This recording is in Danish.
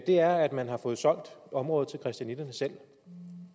er at man har fået solgt området til christianitterne selv